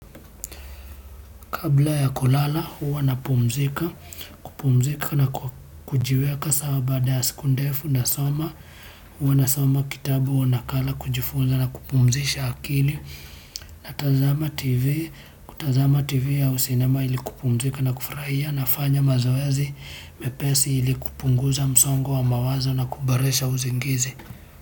Kabla ya kulala huwa napumzika, kupumzika na kujiweka sawa baada ya siku ndefu, nasoma, huwa nasoma kitabu nakala kujifunza na kupumzisha akili. Natazama tv, kutazama tv au sinema ili kupumzika na kufurahia nafanya mazoezi mepesi ili kupunguza msongo wa mawazo na kuboresha usingizi.